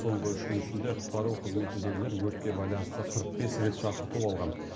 соңғы үш күн ішінде құтқару қызметіндегілер өртке байланысты қырық бес рет шақырту алған